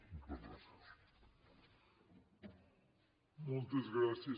moltes gràcies